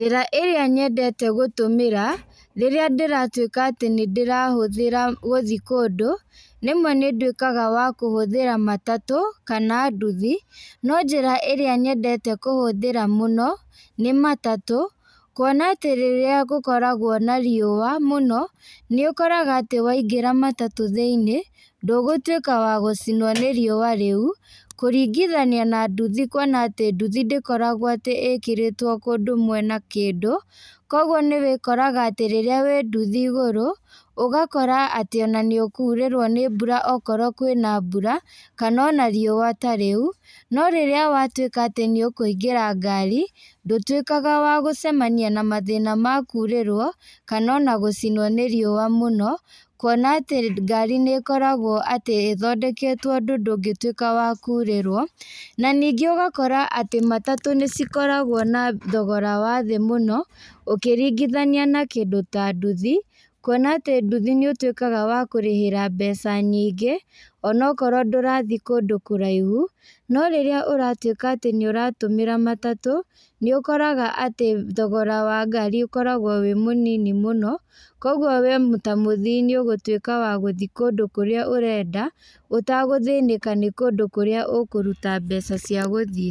Njĩra ĩrĩa nyendete gũtũmĩra, rĩrĩa ndĩratuĩka atĩ nĩndĩrahũthĩra gũthiĩ kũndũ, rĩmwe nĩndũĩkaga wa kũhũthĩra matatũ, kana nduthi, no njĩra ĩrĩa nyendete kũhũthĩra mũno, nĩ matatũ, kuona atĩ rĩrĩa gũkoragwo na riua mũno, nĩũkoraga atĩ waingĩra matatũ thĩinĩ, ndũgũtuĩka wa gũcinwo nĩ riua rĩũ, kũringithania na nduthi kuona atĩ nduthi ndĩkoragwo atĩ ĩkĩrĩtwo kũndũ mwena kĩndũ, koguo nĩwĩkoraga atĩ rĩrĩa wĩ nduthi igũrũ, ũgakora atĩ ona nĩũkurĩrwo nĩ mbura okorwo kwĩna mbura, kana ona rua ta rĩu, no rĩrĩa watuĩka atĩ nĩũkũingĩra ngari, ndũtuĩkaga wa gũcemania na mathĩna ma kũrĩrwo, kana ona gũcinwo nĩ riua mũno, kuona atĩ ngari nĩkoragwo atĩ ĩthondeketwo ũndũ ndũngĩtuĩka wa kũrĩrwo, na ningĩ ũgakora atĩ matatũ nĩcikoragwo na thogora wa thĩ mũno, ũkĩringithania na kĩndũ ta nduthi, kuona atĩ nduthi nĩũtuĩkaga wa kũrĩhĩra mbeca nyingĩ, onokorwo ndũrathiĩ kũndũ kũraihu, no rĩrĩa ũratuĩka atĩ nĩũratũmĩra matatũ, nĩũkoraga atĩ thogora wa ngari ũkoragwo wĩ mũnini mũno, koguo we ta mũthii nĩũgũtuĩka wa gũthi kũndũ kũrĩa ũrenda, ũtagũthĩnĩka nĩ kũndũ kũrĩa ũkũruta mbeca cia gũthiĩ.